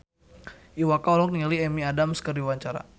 Iwa K olohok ningali Amy Adams keur diwawancara